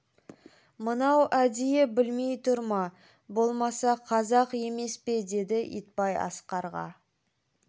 мынау әдейі білмей тұр ма болмаса қазақ емес пе деді итбай асқарға